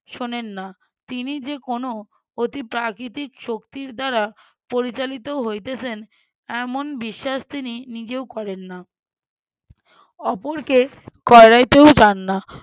শোনেন না তিনি যে কোনো অতি প্রাকৃতিক শক্তির দ্বারা পরিচালিত হইতেছেন এমন বিশ্বাস তিনি নিজেও করেন না অপরকে করাইতেও চান না